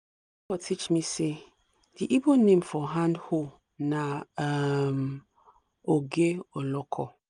neighbour teach me say the igbo name for hand hoe na um oge oloko